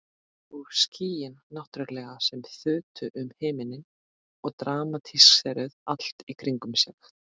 Og skýin náttúrlega sem þutu um himininn og dramatíseruðu allt í kringum sig.